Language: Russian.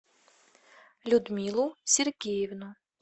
людмилу сергеевну